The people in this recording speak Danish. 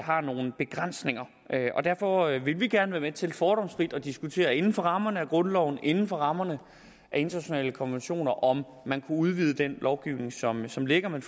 har nogle begrænsninger derfor vil vi gerne være med til fordomsfrit at diskutere inden for rammerne af grundloven inden for rammerne af internationale konventioner om man kunne udvide den lovgivning som som ligger men